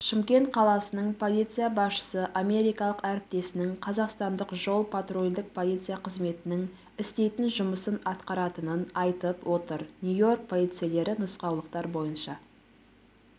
шымкент қаласының полиция басшысы америкалық әріптесінің қазақстандық жол-патрульдік полиция қызметінің істейтін жұмысын атқаратынын айтып отыр нью-йорк полицейлері нұсқаулықтар бойынша әрекет